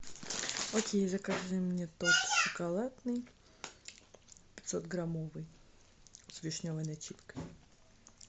окей закажи мне торт шоколадный пятьсот граммовый с вишневой начинкой